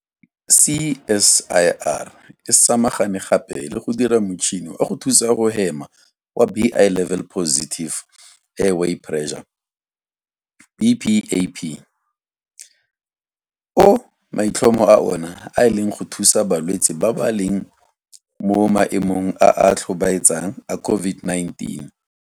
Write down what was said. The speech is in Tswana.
CSIR e samagane gape le go dira motšhini wa go thusa go hema wa Bi-level Positive Airway Pressure BPAP o maitlhomo a ona e leng go thusa balwetse ba ba leng mo maemong a a tlhobaetsang a COVID-19.